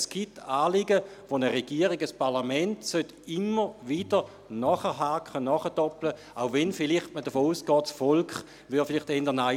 Es gibt Anliegen, wo eine Regierung, ein Parlament immer wieder nachhaken, nachdoppeln sollten, wenngleich man vielleicht davon ausgeht, das Volk sage vielleicht eher Nein.